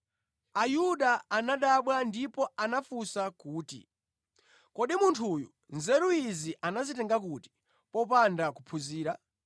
Ayuda anadabwa ndipo anafunsa kuti, “Kodi munthu uyu nzeru izi anazitenga kuti popanda kuphunzira?”